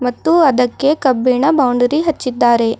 ಮತ್ತು ಅದಕ್ಕೆ ಕಬ್ಬಿಣ ಬೌಂಡರಿ ಹಚ್ಚಿದ್ದಾರೆ.